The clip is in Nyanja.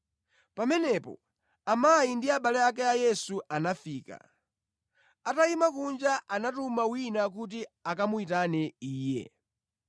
Pamenepo amayi ndi abale ake a Yesu anafika. Atayima kunja, anatuma wina kuti akamuyitane Iye.